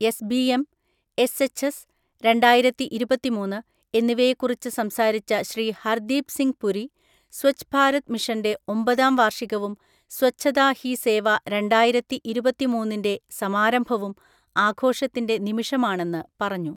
S B M, S H S രണ്ടായിരത്തിഇരുപത്തിമൂന്ന് , എന്നിവയെ കുറിച്ചു സംസാരിച്ച ശ്രീ ഹർദീപ് സിംഗ് പുരി, സ്വച്ഛ് ഭാരത് മിഷന്റെ ഒമ്പതാം വാർഷികവും സ്വച്ഛത ഹി സേവ രണ്ടായിരത്തിഇരുപത്തിമൂന്നിൻ്റെ സമാരംഭവും ആഘോഷത്തിൻ്റെ നിമിഷമാണെന്ന് പറഞ്ഞു.